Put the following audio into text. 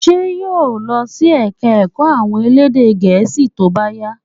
Ṣé yóò lọ sí ẹ̀ka ẹ̀kọ́ àwọn elédè gẹ̀ẹ́sì tó bá yá?